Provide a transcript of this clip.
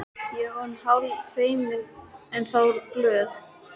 Ég var orðin hálffeimin, en þó glöð.